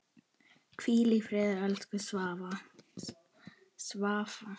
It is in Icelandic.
Hvíl í friði, elsku Svafa.